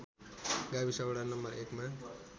गाविस वडा नं १ मा